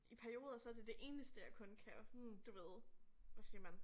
I perioder så det det eneste jeg kun kan du ved hvad siger man